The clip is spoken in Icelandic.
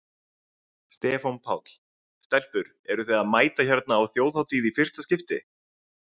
Stefán Páll: Stelpur eruð þið að mæta hérna á Þjóðhátíð í fyrsta skipti?